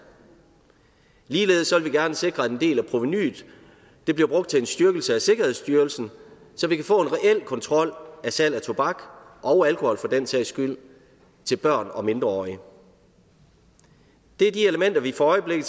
ligeledes vil vi gerne sikre at en del af provenuet bliver brugt til en styrkelse af sikkerhedsstyrelsen så vi kan få en reel kontrol af salg af tobak og alkohol for den sags skyld til børn og mindreårige det er de elementer vi for øjeblikket